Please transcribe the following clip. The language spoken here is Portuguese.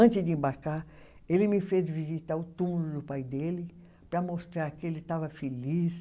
Antes de embarcar, ele me fez visitar o túmulo do pai dele para mostrar que ele estava feliz.